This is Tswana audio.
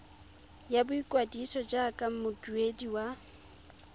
ya boikwadiso jaaka moduedi wa